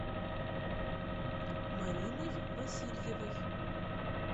мариной васильевой